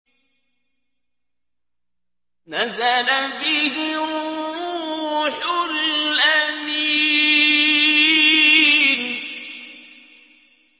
نَزَلَ بِهِ الرُّوحُ الْأَمِينُ